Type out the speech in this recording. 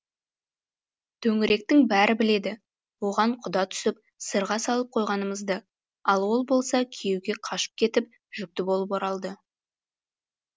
төңіректің бәрі біледі оған құда түсіп сырға салып қойғанымызды ал ол болса күйеуге қашып кетіп жүкті болып оралды